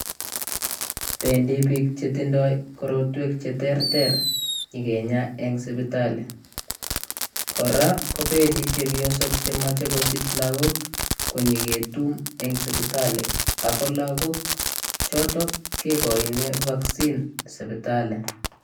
Pendi bik chetinye mnyenwek cheter kobendi sipatili kinyaa ako mii lakok chekikochin [vaccine] eng sipitli